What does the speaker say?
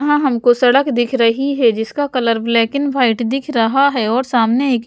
यहाँ हमको सड़क दिख रही है जिसका कलर ब्लैक एंड वाइट दिख रहा है और सामने एक --